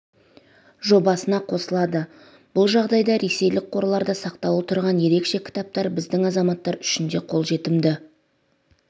жобасына қосылады бұл жағдайда ресейлік қорларда сақтаулы тұрған ерекше кітаптар біздің азаматтар үшін де қолжетімді